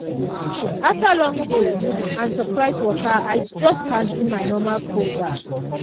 after long day and surprise waka i just cancel my normal cold baff.